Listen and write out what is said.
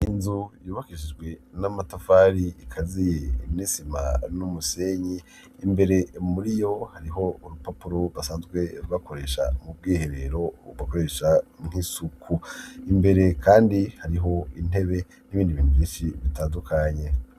Inzu yubakishijwe n'amatafari ikaziye n'isima n'umusenyi imbere muri yo hariho urupapuro basanzwe bakoresha mu bwihe rero bbakoresha nk'isuku imbere kandi hariho intebe n'ibindi bintu binshi bitandukanye.